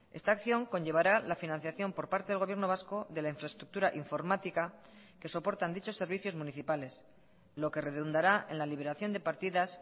esta acción conllevará la financiación por parte del gobierno vasco de la infraestructura informática que soportan dichos servicios municipales lo que redundará en la liberación de partidas